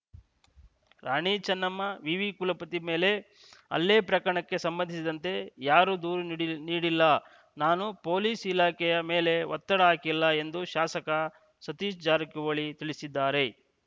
ರಾಣಿ ಚೆನ್ನಮ್ಮ ವಿವಿ ಕುಲಪತಿ ಮೇಲೆ ಹಲ್ಲೆ ಪ್ರಕರಣಕ್ಕೆ ಸಂಬಂಧಿಸಿದಂತೆ ಯಾರೂ ದೂರು ನೀಡಿ ನೀಡಿಲ್ಲ ನಾನು ಪೊಲೀಸ್‌ ಇಲಾಖೆಯ ಮೇಲೆ ಒತ್ತಡ ಹಾಕಿಲ್ಲ ಎಂದು ಶಾಸಕ ಸತೀಶ್‌ ಜಾರಕಿಹೊಳಿ ತಿಳಿಸಿದ್ದಾರೆ